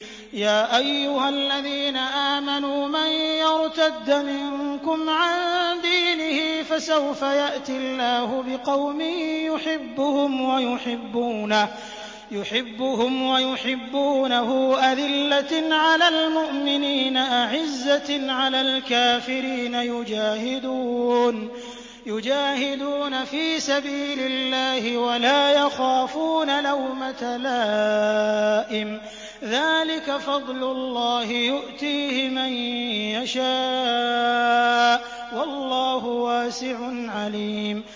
يَا أَيُّهَا الَّذِينَ آمَنُوا مَن يَرْتَدَّ مِنكُمْ عَن دِينِهِ فَسَوْفَ يَأْتِي اللَّهُ بِقَوْمٍ يُحِبُّهُمْ وَيُحِبُّونَهُ أَذِلَّةٍ عَلَى الْمُؤْمِنِينَ أَعِزَّةٍ عَلَى الْكَافِرِينَ يُجَاهِدُونَ فِي سَبِيلِ اللَّهِ وَلَا يَخَافُونَ لَوْمَةَ لَائِمٍ ۚ ذَٰلِكَ فَضْلُ اللَّهِ يُؤْتِيهِ مَن يَشَاءُ ۚ وَاللَّهُ وَاسِعٌ عَلِيمٌ